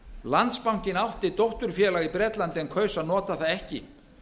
landsbankinn átti dótturfélag í bretlandi en kaus að nota það ekki